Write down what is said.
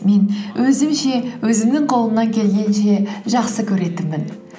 мен өзімше өзімнің қолымнан келгенше жақсы көретінмін